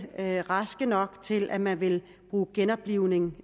var raske nok til at man ville bruge genoplivning